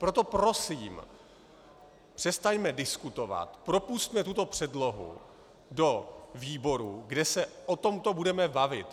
Proto prosím, přestaňme diskutovat, propusťme tuto předlohu do výborů, kde se o tomto budeme bavit.